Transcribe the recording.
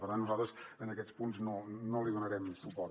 per tant nosaltres en aquests punts no li donarem suport